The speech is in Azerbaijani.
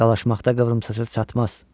Dalaşmaqda qıvrımsaça çatmaz.